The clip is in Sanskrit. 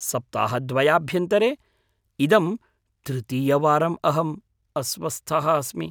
सप्ताहद्वयाभ्यन्तरे इदं तृतीयवारम् अहम् अस्वस्थः अस्मि।